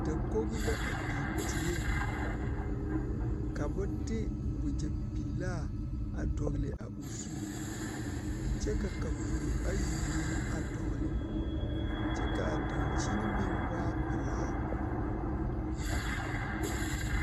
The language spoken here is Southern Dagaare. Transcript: Dakogi la a biŋ dieŋ ka ba de wagyɛpelaa a dɔgle a o zu kyɛ ka kapuro ayi meŋ a dɔgle kyɛ k,a dankyini meŋ waa pelaa.